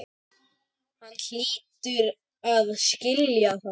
Hann hlýtur að skilja það.